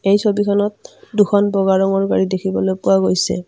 এই ছবিখনত দুখন বগা ৰঙৰ গাড়ী দেখিবলৈ পোৱা গৈছে।